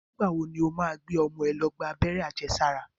Nígbà wo ni ó máa gbé ọmọ ẹ̀ lọ gba Abẹ́rẹ́ àjẹsára?